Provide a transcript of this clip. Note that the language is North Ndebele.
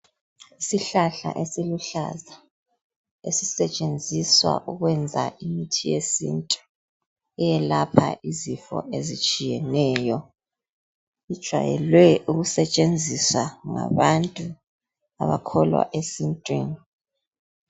isihlahla esiluhlaza esisetshenziswa ukwenza imithi yesintu eyelapha izifo ezitshiyeneyo sijayelwe ukusetshenziswa ngabantu abakholwa esintwini